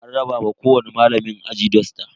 An raba wa kowani malamin aji dusta.